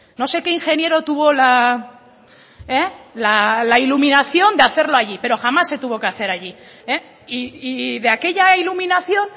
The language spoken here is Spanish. no sé qué ingeniero tuvo la iluminación de hacerlo allí pero jamás se tuvo que hacer allí y de aquella iluminación